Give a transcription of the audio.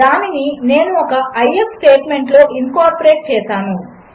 దానినినేనుఒక if స్టేట్మెంట్లోఇన్కార్పొరేట్చేసాను